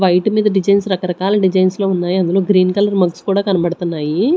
White మీద designs రకరకాల designs లో ఉన్నాయి అందులో గ్రీన్ కలర్ మగ్స్ కూడా కనపడతన్నాయి.